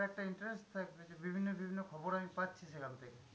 একটা interest থাকবে যে বিভিন্ন বিভিন্ন খবর আমি পাচ্ছি সেখান থেকে।